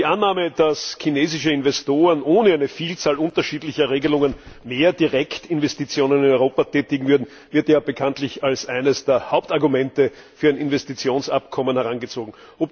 Die Annahme, dass chinesische Investoren ohne eine Vielzahl unterschiedlicher Regelungen mehr Direktinvestitionen in Europa tätigen würden, wird ja bekanntlich als eines der Hauptargumente für ein Investitionsabkommen herangezogen.